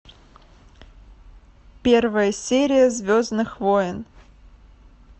первая серия звездных войн